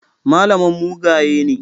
Malaman mugaye ne.